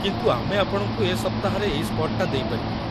କିନ୍ତୁ ଆମେ ଆପଣଙ୍କୁ ଏ ସପ୍ତାହରେ ଏଇ ସ୍ପଟ୍‌ଟା ଦେଇପାରିବୁନି ।